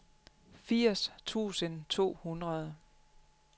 firs tusind to hundrede